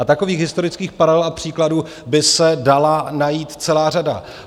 A takových historických paralel a příkladů by se dala najít celá řada.